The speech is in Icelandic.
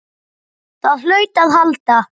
Það hlaut að halda.